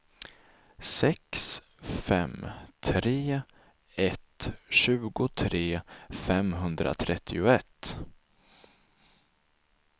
sex fem tre ett tjugotre femhundratrettioett